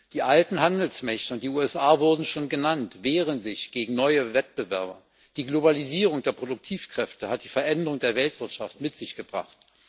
Die alten Handelsmächte und die USA wurden schon genannt wehren sich gegen neue Wettbewerber. Die Globalisierung der Produktivkräfte hat die Veränderung der Weltwirtschaft mit sich gebracht.